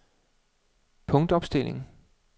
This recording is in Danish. punktopstilling